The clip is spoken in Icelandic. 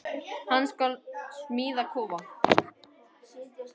Hann skal smíða kofa.